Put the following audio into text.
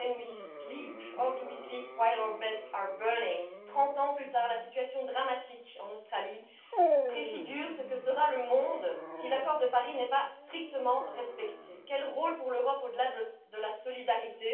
How do we sleep while our beds are burning?. Trente ans plus tard, la situation dramatique en Australie préfigure ce que sera le monde si l'accord de Paris n'est pas strictement respecté. Quel rôle pour l'Europe au delà de la solidarité?